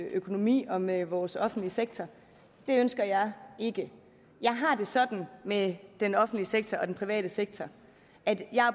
økonomi og med vores offentlige sektor det ønsker jeg ikke jeg har det sådan med den offentlige sektor og den private sektor at jeg